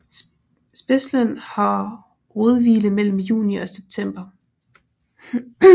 Spidsløn har rodhvile mellem juni og september